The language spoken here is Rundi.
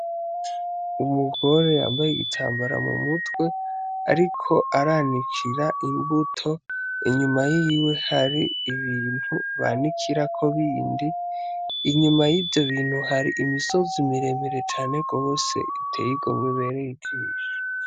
Umugore yambaye igitambara mu mutwe, ariko aranikira imbuto, inyuma yiwe hari ibintu banikirako bindi, inyuma yivyo bintu hari imisozi miremire cane gose, iteye igomwe ibereye ijisho.